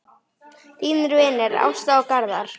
Þínir vinir, Ásta og Garðar.